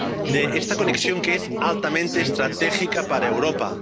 de esta conexión, que es altamente estratégica para Europa.